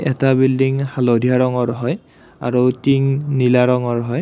এটা বিল্ডিং হালধীয়া ৰঙৰ হয় আৰু টিং নীলা ৰঙৰ হয়।